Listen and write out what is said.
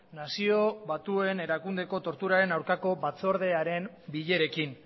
nazio batuen erakundeko torturaren aurkako batzordearen bilerekin